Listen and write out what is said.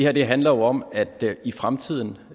her handler jo om at det i fremtiden